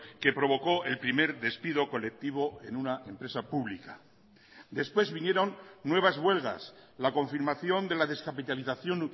que provocó el primer despido colectivo en una empresa pública después vinieron nuevas huelgas la confirmación de la descapitalización